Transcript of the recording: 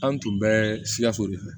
An tun bɛ sikaso de fɛ